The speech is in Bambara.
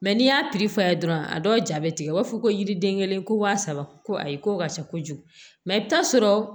Mɛ n'i y'a tigi fa ye dɔrɔn a dɔw ja bɛ tigɛ u b'a fɔ ko yiriden kelen ko wa saba ko ayi ko ka ca kojugu mɛ i bɛ taa sɔrɔ